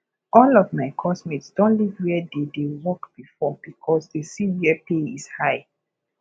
all of my coursemate don leave where they dey work before because they see where pay is high